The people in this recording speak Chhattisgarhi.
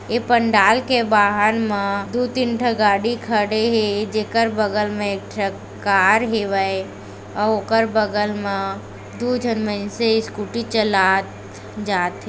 ए पंडाल के बाहर म दु तीन ठ गाड़ी खड़े हे जेकर बगल मे एक ठक कार हेवय अऊ ओकर बगल म दु झन मइन्से स्कूटी चलात जाथे।